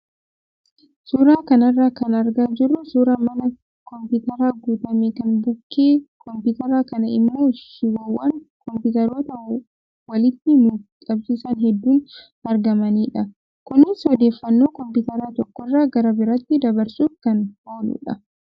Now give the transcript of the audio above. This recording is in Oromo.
Suuraa kanarraa kan argaa jirru suuraa mana kompiitaraan guutame kan bukkee kompiitara kanaa immoo shiboowwan kompiitaroota walitti nuuf qabsiisan hedduun argamanidha. Kunis odeeffaannoo kompiitara tokkorraa gara biraatti dabarsuuf kan ooludha.